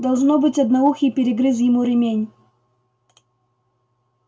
должно быть одноухий перегрыз ему ремень